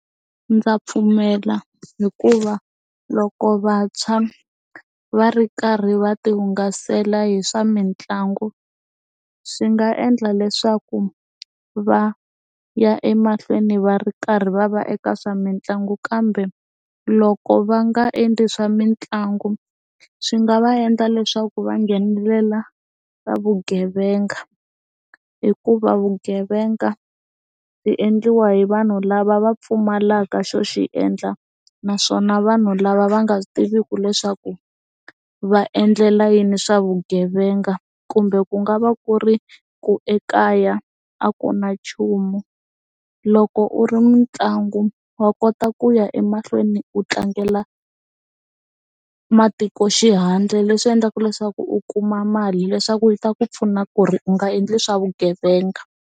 Ndza pfumela hikuva loko vantshwa va ri karhi va ti hungasela hi swa mitlangu swi nga endla leswaku va ya emahlweni va ri karhi va va eka swa mitlangu kambe loko va nga endli swa mitlangu swi nga va endla leswaku va nghenelela ka vugevenga hikuva vugevenga byi endliwa hi vanhu lava va pfumalaka xo xi endla naswona vanhu lava va nga swi tiviki leswaku va endlela yini swa vugevenga kumbe ku nga va ku ri ku ekaya a ku na nchumu loko u ri mitlangu wa kota ku ya emahlweni u tlangela matiko xihandle leswi endlaka leswaku u kuma mali leswaku yi ta ku pfuna ku ri u nga endli swa vugevenga.